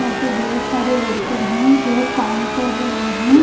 यहां पे बहुत सारे वर्कर हैं जो काम कर रहे हैं।